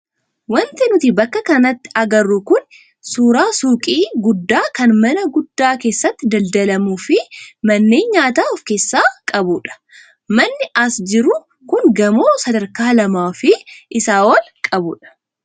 Wanti nuti bakka kanatti agarru kun suuraa suuqii guddaa kan mana guddaa keessatti daldalamuu fi manneen nyaataa of keessaa qabudha. Manni as jiru kun gamoo sadarkaa lamaa fi isaa ol qabudha.